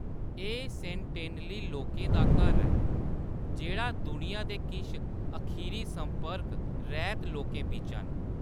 एह्‌‌ सेंटिनली लोकें दा घर ऐ, जेह्‌‌ड़ा दुनिया दे किश अखीरी संपर्क रैह्‌त लोकें बिच्चा न।